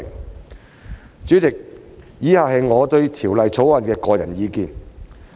代理主席，以下是我對《條例草案》的個人意見。